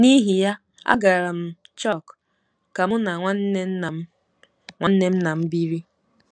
N’ihi ya, agara m Chauk ka mụ na nwanne nna m nwanne nna m biri.